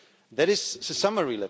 That is a summary.